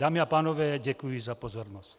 Dámy a pánové, děkuji za pozornost.